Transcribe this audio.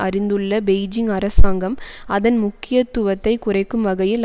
அறிந்துள்ள Beijing அரசாங்கம் அதன் முக்கியத்துவத்தை குறைக்கும் வகையில்